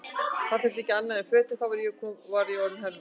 Það þurfti ekki annað en fötin, þá var ég orðinn hermaður!